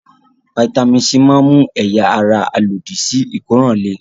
Fataímìn C máa ń mú ẹ̀yà-ara alòdì-sí-ìkóràn le.